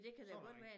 Så ringer